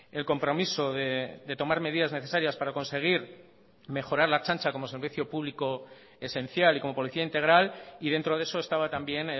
el compromiso de tomar medidas necesarias para conseguir mejorar la ertzantza como servicio público esencial y como policía integral y dentro de eso estaba también